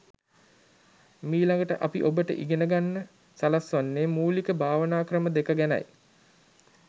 මීළඟට අපි ඔබට ඉගෙන ගන්න සලස්වන්නේ මූලික භාවනා ක්‍රම දෙක ගැනයි.